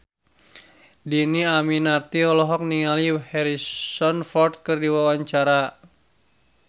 Dhini Aminarti olohok ningali Harrison Ford keur diwawancara